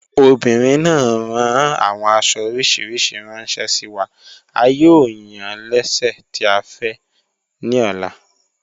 Obìnrin náà ràn awọn àṣo oríṣiríṣí ránṣẹ sí wa, à yóò yàn lẹ́sẹ̀ tì à fẹ́ ní ọ̀lá.